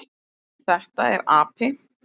Þetta er api.